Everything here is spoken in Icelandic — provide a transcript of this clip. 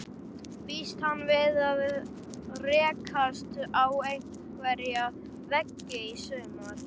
Býst hann við að rekast á einhverja veggi í sumar?